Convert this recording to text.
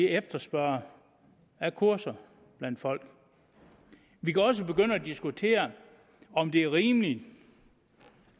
efterspørger af kurser blandt folk vi kan også begynde at diskutere om det er rimeligt